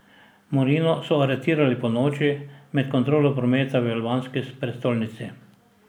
Morino so aretirali ponoči med kontrolo prometa v albanski prestolnici.